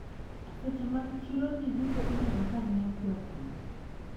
Seche mag chiro jiduto ineno kanyiewo piyopiyo.